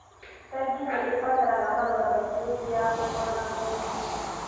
Bengi nĩ ibataraga marũa maingĩ hĩndĩ ya kũhoya ngombo.